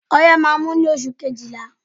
Ọyẹ́ má á mú ní oṣù kejìlá.